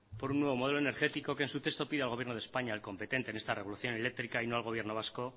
por un nuevo modelo energético que en su texto pide al gobierno de españa al competente en esta revolución eléctrica y no al gobierno vasco